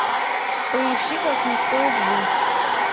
поищи как не стоит жить